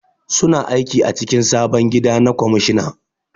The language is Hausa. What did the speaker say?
Su na aiki a cikin sabon gida na kwamishina